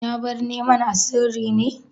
Ya bar neman a sirri ne?